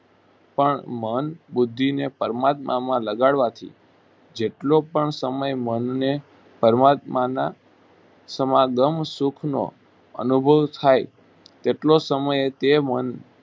પણ મન બુદ્ધિને પરમાત્મામાં લગાડવાથી જેટલો પણ સમય મનને પરમાત્માના સમાગમ સુખનો અનુભવ થાય તેટલો સમય તે મન